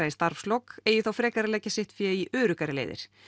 í starfslok eigi þá frekar að leggja sitt fé í öruggari leiðir